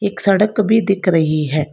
एक सड़क भी दिख रही है।